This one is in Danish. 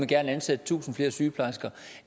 gerne ansætte tusind flere sygeplejersker